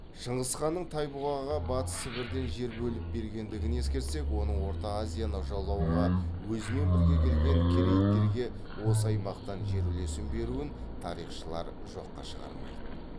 шыңғыс ханның тайбұғаға батыс сібірден жер бөліп бергендігін ескерсек оның орта азияны жаулауға өзімен бірге келген керейттерге осы аймақтан жер үлесін беруін тарихшылар жоққа шығармайды